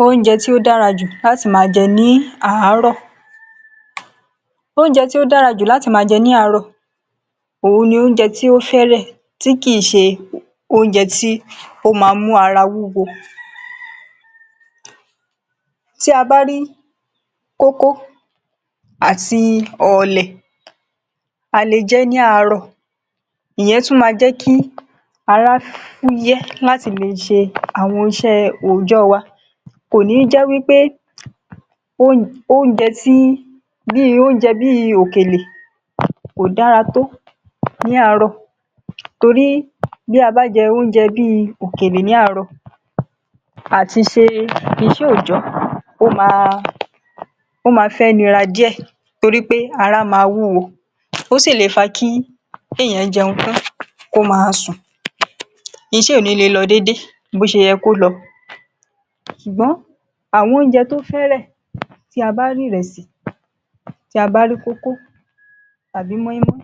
Oúnjẹ tí ó dára jù láti máa jẹ ní àárọ̀. Oúnjẹ tó dára jù láti máa jẹ ní àárọ̀ òhun ni oúnjẹ tí ó fẹ́lẹ́ tí kì í ṣe oúnjẹ tí ó máa mú ara wúwo. Tí a bá rí kókó àti ọ̀ọ̀lẹ̀, a le jẹ́ ní àárọ̀, ìyẹn tún ma jẹ́ kí ará fúyẹ́ láti le ṣe àwọn iṣẹ́ òòjọ́ wa. Kò ní jẹ́ wí pé oúnjẹ tí bí oúnjẹ bíi òkèlè kò dára tó ní àárọ̀, torí bí a bá jẹ́ oúnjẹ bíi òkèlè ní àárọ̀, àti ṣe iṣẹ́ òòjọ́ wa ó ma ó ma fẹ́ nıra díẹ̀ torí pé ará máa wúwo, ó sì lè fa kí èèyàn jẹun tán kó ma sùn. Iṣẹ́ ò ní lè lọ dédé bó ṣe yẹ kó lọ. Ṣùgbọ́n àwọn oúnjẹ tó fẹ́rẹ̀ tí a bá rí rẹsì, tí a bá rí kókó, tàbí mọ́í-mọ́í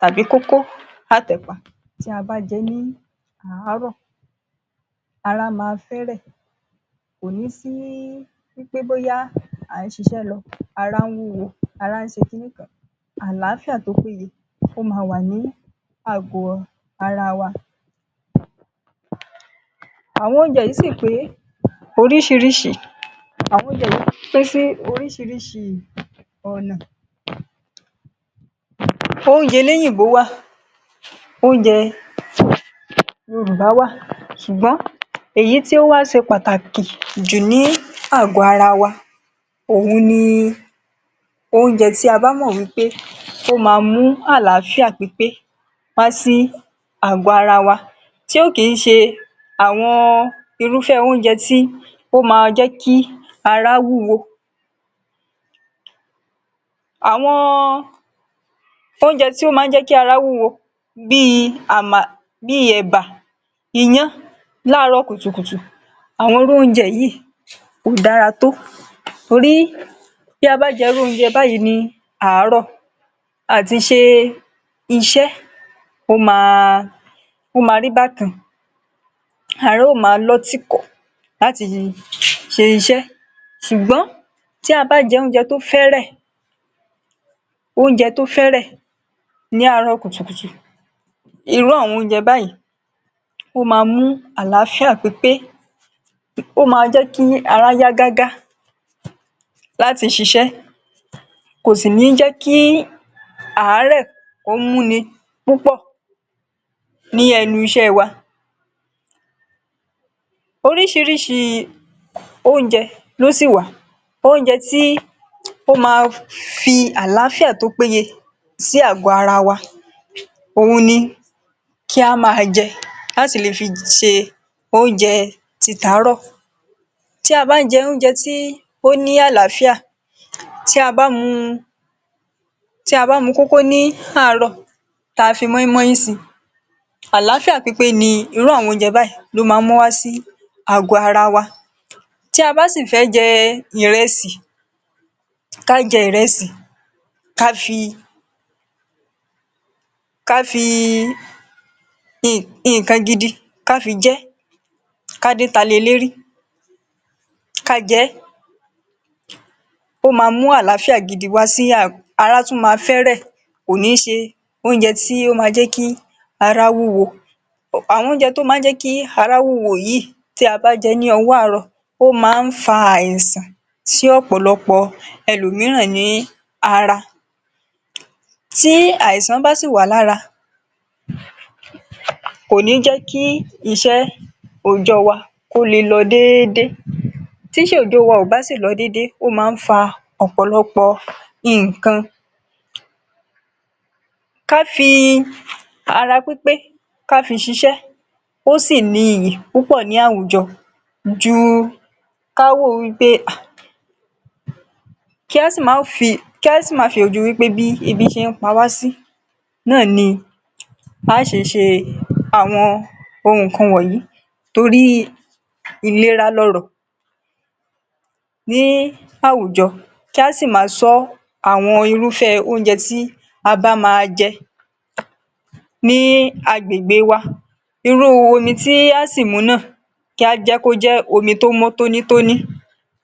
tàbí kókó àtẹ̀pà tí a bá jẹ ẹ́ ní àárọ̀, ara máa fẹ́rẹ̀. Kò ní sí wí pé bóyá à ń ṣiṣẹ́ lọ, ará ń wúwo, ará ń ṣe ki ní kan àlàáfíà tó pé yẹ ó ma wà ní àgọ́ ara wa. Àwọn oúnjẹ yìí sì pé oríṣiríṣi, àwọn oúnjẹ yìí pín sí oríṣiríṣi ọ̀nà. Oúnjẹ eléyìnbó wà, oúnjẹ Yorùbá wà ṣùgbọ́n èyí tí ó wá ṣe pàtàkì jù ní àgọ́ ara wa òhun ni oúnjẹ tí a bá mọ̀ wí pé ó máa mú àlàáfíà pípé wá sí àgọ́ ara wa, tí ò kí í ṣe àwọn irúfẹ́ oúnjẹ tí ó ma jẹ́ kí ará wúwo. Àwọn oúnjẹ tí ó máa ń jẹ́ kí ará wúwo, àwọn oúnjẹ bíi ẹ̀bà, iyán láàárọ̀ kùtùkùtù, àwọn irú oúnjẹ yìí kò dára tó. Torí tí a bá jẹ irú oúnjẹ báyìí ní àárọ̀, àti ṣe iṣẹ́ ó máa rí bákan, ará ó máa lọ́ tìkọ̀ láti ṣe iṣẹ́. Ṣùgbọ́n tí a bá jẹ oúnjẹ tó fẹ́rẹ̀, oúnjẹ tó fẹ́rẹ̀ ní àárọ̀ kùtùkùtù, irú àwọn oúnjẹ báyìí ó máa mú àlàáfíà pípé, ó máa jẹ́ kí ará yá gágá láti ṣiṣẹ́, kò sì ní jẹ́ kí àárẹ̀ kó mú ní púpọ̀ ní ẹnu iṣẹ́ wa. Oríṣiríṣi oúnjẹ ló sì wà, oúnjẹ tí ó ma fi àlàáfíà tó péye sí àgọ́ ara wa, òhun ni kí á máa jẹ láti le fi ṣe oúnjẹ tí tàárọ̀. Tí a bá ń jẹ oúnjẹ tí ó ní àlàáfíà, tí a bá mu tí a bá mu kókó ní àárọ̀ ta fi mọ́í-mọ́í si, àlàáfíà pípé ni irú àwọn oúnjẹ báyìí ló máa ń mú wá sí àgọ́ ara wa. Tí a bá sì fẹ́ jẹ ìrẹsì, ká jẹ́ ìrẹsì, ká fi nǹkan gidi ká fi jẹ́. Ká dínta le lérí, ká jẹ́, ó máa mú àlàáfíà gidi wá sí ará tún máa fẹ́rẹ̀, kò ní ṣe oúnjẹ tí ó ma jẹ́ kí ará wúwo. Àwọn oúnjẹ tó ma jẹ́ kí ará wúwo yìí ta bá jẹ́ ní owó àárọ̀, ó máa ń fa àìsàn sí ọ̀pọ̀lọpọ̀ ẹlòmíràn ní ara. Tí àìsàn bá sì wà lára, kò ní jẹ́ kí iṣẹ́ òòjọ́ wa kó le lọ déédéé. Tí iṣẹ́ òòjọ́ wa kò bá sì lọ déédéé, ó máa ń fa ọ̀pọ̀lọpọ̀ nǹkan. Ká fi ara pípé ká fi ṣiṣẹ́ ó sì ní iyì púpọ̀ ní àwùjọ ju ká wò wí pé hà, kí á sì má fi kí á sì má fi ojú wí pé bí ebi ṣe ń pa wá sí náà ni à á ṣe ṣe àwọn nǹkan wọ̀nyí torí ìlera lọrọ̀. Ní àwùjọ kí á sì máa ṣọ́ àwọn irúfẹ́ oúnjẹ tí a bá máa jẹ ní agbègbè wa. Irú omi tí a á sì mu náà kí a jẹ kó jẹ́ omi tó mọ́ tóní tóní.